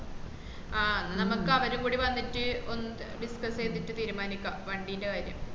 ആഹ് എന്നാ അമ്മക്ക് അവരും കൂടി വന്നിട്ട് ഒന്നി discuss ചെയ്‍തിട്ട് തീരുമാനിക്കുക വണ്ടീന്റെ